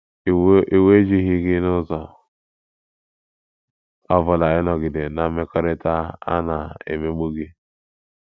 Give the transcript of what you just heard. Iwu ejighị gị n’ụzọ ọ bụla ịnọgide ná mmekọrịta a na - emegbu gị.